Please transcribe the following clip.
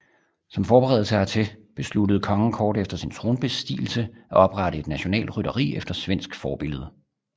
Som forberedelse hertil besluttede kongen kort efter sin tronbestigelse at oprette et nationalt rytteri efter svensk forbillede